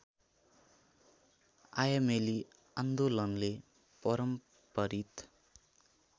आयामेली आन्दोलनले परम्परित